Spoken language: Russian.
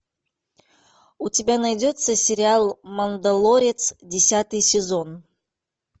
у тебя найдется сериал мандалорец десятый сезон